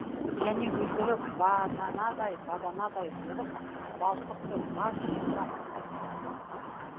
және өздері баданадай баданадай болып балқып тұр ғаж жап